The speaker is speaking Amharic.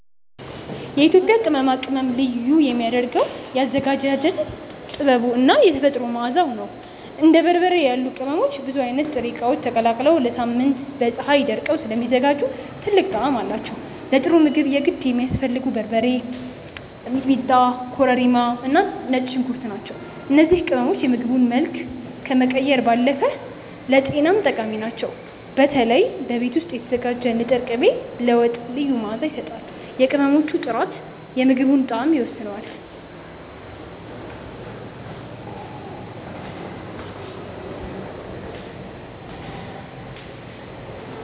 የኢትዮጵያ ቅመማ ቅመም ልዩ የሚያደርገው የአዘገጃጀት ጥበቡ እና የተፈጥሮ መዓዛው ነው። እንደ በርበሬ ያሉ ቅመሞች ብዙ አይነት ጥሬ እቃዎች ተቀላቅለው ለሳምንታት በፀሀይ ደርቀው ስለሚዘጋጁ ጥልቅ ጣዕም አላቸው። ለጥሩ ምግብ የግድ የሚያስፈልጉት በርበሬ፣ ሚጥሚጣ፣ ኮረሪማ እና ነጭ ሽንኩርት ናቸው። እነዚህ ቅመሞች የምግቡን መልክ ከመቀየር ባለፈ ለጤናም ጠቃሚ ናቸው። በተለይ በቤት ውስጥ የተዘጋጀ ንጥር ቅቤ ለወጥ ልዩ መዓዛ ይሰጣል። የቅመሞቹ ጥራት የምግቡን ጣዕም ይወስነዋል።